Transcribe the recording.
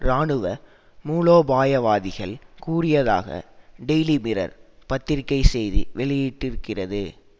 இராணுவ மூலோபாயவாதிகள் கூறியதாக டெய்லி மிரர் பத்திரிகை செய்தி வெளியிட்டிருக்கிறது